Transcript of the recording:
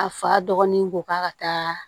A fa dɔgɔnin bɔ k'a ka taa